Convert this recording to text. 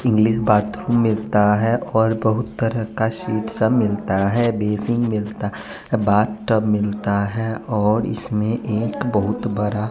English bathroom मिलता है और बहुत तरह का सीसा मिलता है बेसिंग मिलता बाथ टब मिलता है और इसमें एक बहुत बड़ा --